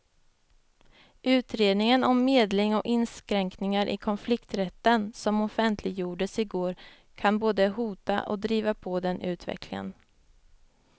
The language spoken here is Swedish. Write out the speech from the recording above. Utredningen om medling och inskränkningar i konflikträtten som offentliggjordes i går kan både hota och driva på den utvecklingen.